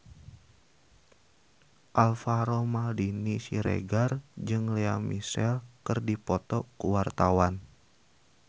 Alvaro Maldini Siregar jeung Lea Michele keur dipoto ku wartawan